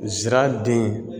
Zira den